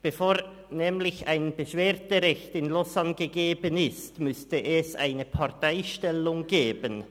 Bevor nämlich ein Beschwerderecht in Lausanne gegeben ist, müsste es eine Parteistellung geben.